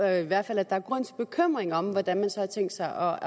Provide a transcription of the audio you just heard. i hvert fald er grund til bekymring om hvordan man så har tænkt sig